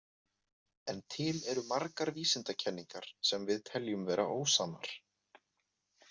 En til eru margar vísindakenningar sem við teljum vera ósannar.